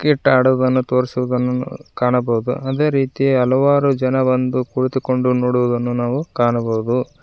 Cricket ಆಡುವುದನ್ನು ತೋರಿಸುವುದನ್ನು ಕಾಣಬಹುದು ಅದೇ ರೀತಿ ಹಲವಾರು ಜನ ಬಂದು ಕುಳಿತುಕೊಂಡು ನೋಡುವುದನ್ನು ನಾವು ಕಾಣಬಹುದು.